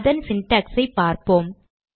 அதன் syntax ஐ பார்ப்போம்